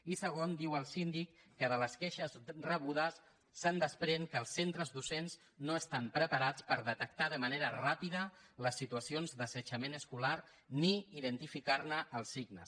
i segon diu el síndic que de les queixes rebudes es desprèn que els centres docents no estan preparats per detectar de manera ràpida les situacions d’assetjament escolar ni per identificar ne els signes